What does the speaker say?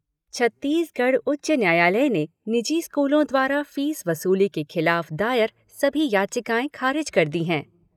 छत्तीसगढ़ उच्च न्यायालय ने निजी स्कूलों द्वारा फीस वसूली के खिलाफ दायर सभी याचिकाएं खारिज कर दी है।